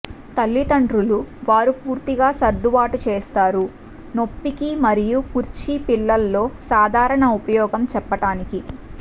తల్లిదండ్రులు వారు పూర్తిగా సర్దుబాటు చేస్తారు నొప్పికీ మరియు కుర్చీ పిల్లల్లో సాధారణ ఉపయోగం చెప్పటానికి